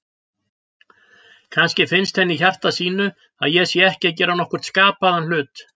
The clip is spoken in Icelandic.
Kannski finnst henni í hjarta sínu að ég sé ekki að gera nokkurn skapaðan hlut.